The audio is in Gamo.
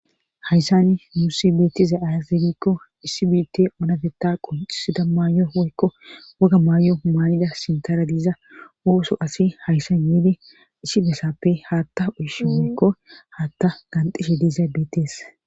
Hayssani muusi beettiza azirikko issi biitt onafeta qonxisida maay7o woykko woga maayo humanida sintara diiza ooso asi hayssan yeede isi besappe haatta uush woykko haatta ganxishe diiza beetees